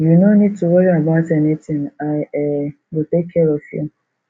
you no need to worry about anything i um go take care of you